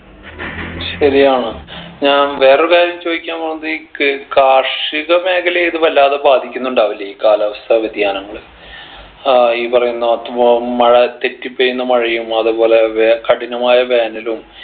ശരിയാണ് ഞാൻ വേറൊരു കാര്യം ചോയിക്കാൻ പോണത് ഈ ക് കാർഷിക മേഖലയെ ഇത് വല്ലാതെ ബാധിക്കുന്നുണ്ടാവില്ലേ ഈ കാലാവസ്ഥ വ്യതിയാനങ്ങള് ഏർ ഈ പറയുന്ന മഴ തെറ്റിപ്പെയ്യുന്ന മഴയും അതേപോലെ വേ കഠിനമായ വേനലും